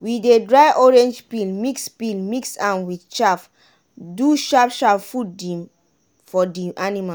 we dey dry orange peel mix peel mix am wit chaff do sharp sharp food for di anima.